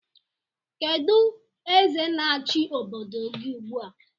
Kedụ eze na-achi obodo gị ugbu a?